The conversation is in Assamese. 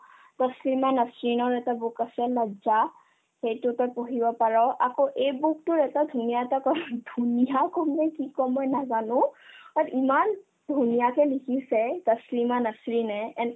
তছলিমা নাছৰিনৰ এটা book আছে লাজ্জা এইটো তই পঢ়িব পাৰ আকৌ এইবোৰতো এটা ধুনীয়া type ৰ ধুনীয়া ক'ত যে কি কই মই নাজানো অত ইমান ধুনীয়াকে লিখিছে তাচলিমা তছলিমা নাছৰিনয়ে এনেকৈ